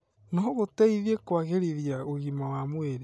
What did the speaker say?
no gũteithie kwagĩrithia ũgima wa mwĩrĩ.